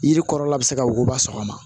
Yiri kɔrɔla bɛ se ka wuguba sɔgɔma